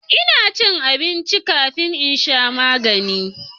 ina cin abinci kafin in sha magani